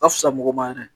A fisa mɔgɔ ma yɛrɛ